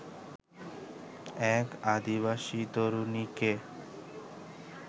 এক আদিবাসী তরুণীকে